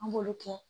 An b'olu kɛ